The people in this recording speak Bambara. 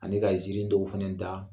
Ani ka nsiirin dɔw fana da